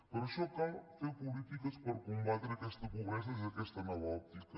per això cal fer polítiques per combatre aquesta pobresa des d’aquesta nova òptica